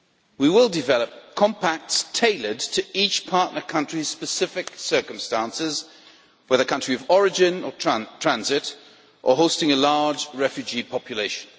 We will develop compacts tailored to each partner country's specific circumstances, whether country of origin or transit or hosting a large refugee population.